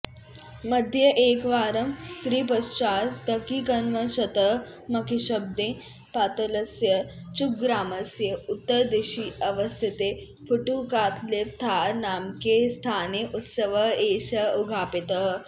मध्ये एकवारं त्रिपञ्चाशदधिकनवशततमख्रीष्टाब्दे पातलस्य चुकग्रामस्य उत्तरदिशि अवस्थिते फुटुकातलिपथारनामके स्थाने उत्सवः एषः उद्यापितः